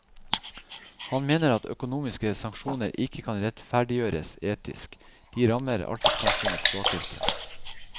Han mener at økonomiske sanksjoner ikke kan rettferdiggjøres etisk, de rammer alltid samfunnets svakeste.